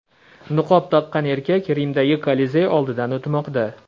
Niqob taqqan erkak Rimdagi Kolizey oldidan o‘tmoqda.